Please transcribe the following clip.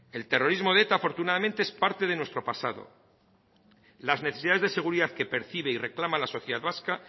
el terrorismo de eta afortunadamente es parte de nuestro pasado las necesidades de seguridad que percibe y reclama la sociedad vasca